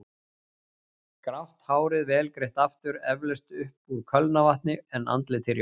Grátt hárið vel greitt aftur, eflaust upp úr kölnarvatni, en andlitið rjótt.